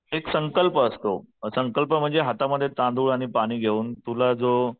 एक संकल्प असतो, संकल्प म्हणजे हातामध्ये तांदूळ आणि पाणी घेऊन तुला जो